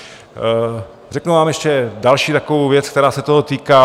Řeknu vám ještě další takovou věc, která se toho týká.